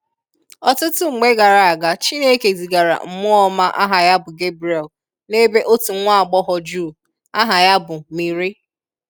Ọtụtụ mgbe gara aga, Chineke zịgara Mmụọ Ọma aha ya bụ Gabriel n’ebe otu nwa agbọghọ Juu, aha ya bụ Mịrị.